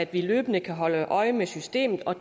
vi løbende kan holde øje med systemet og